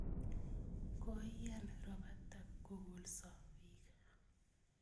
Koiyan ropatak kokolso piik